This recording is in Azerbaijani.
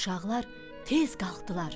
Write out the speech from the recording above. Uşaqlar tez qalxdılar.